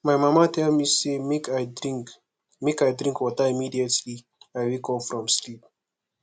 my mama tell me say make i drink make i drink water immediately i wake up from sleep